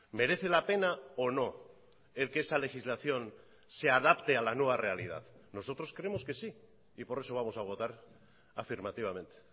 merece la pena o no el que esa legislación se adapte a la nueva realidad nosotros creemos que sí y por eso vamos a votar afirmativamente